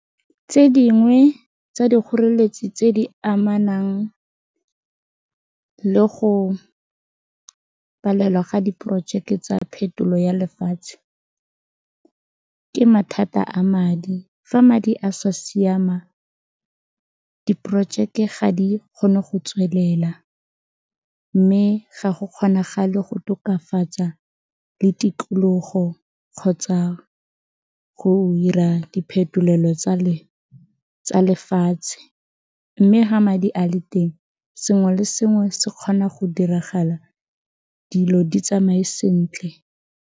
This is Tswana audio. Tse dingwe tsa dikgoreletsi tse di amanang le go palelwa ga diporojeke tsa phetolo ya lefatshe ke mathata a madi, fa madi a sa siama, diporojeke ga di kgone go tswelela mme ga go kgonagale go tokafatsa le tikologo kgotsa go diphetolelo tsa lefatshe mme fa madi a le teng sengwe le sengwe se kgona go diragala dilo di tsamae sentle.